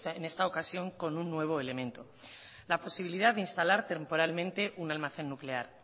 en esta ocasión con un nuevo elemento la posibilidad de instalar temporalmente un almacén nuclear